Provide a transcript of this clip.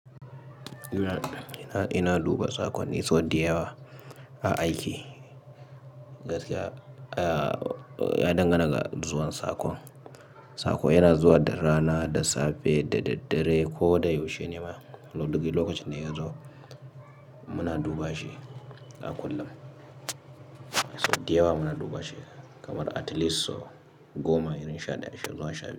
Ina duba saƙonni diyawa a aiki. Gaskiya, ya dangana ga zuwan saƙon. Saƙo yana zuwa da rana, da safe, da daddare ko da yaushe ne ma. Duk lokacin da ya zo muna duba shi a kullum. Sau diyawa muna duba shi kamar at least goma, irin shaɗaya, zuwa sha biyu.